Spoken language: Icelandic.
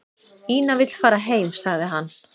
"""Ína vill fara heim, sagði hann."""